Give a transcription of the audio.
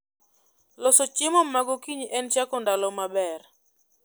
Loso chiemo magokinyi en chako ndalo maber